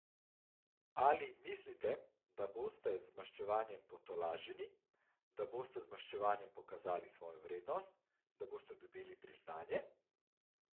Ali mislite, da boste z maščevanjem potolaženi, da boste z maščevanjem pokazali svojo vrednost, da boste dobili priznanje?